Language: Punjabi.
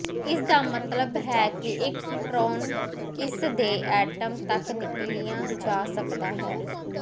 ਇਸ ਦਾ ਮਤਲਬ ਹੈ ਕਿ ਇਕਟ੍ਰੋਨ ਇਸ ਦੇ ਐਟਮ ਤੱਕ ਨਿਕਲੀਆ ਜਾ ਸਕਦਾ ਹੈ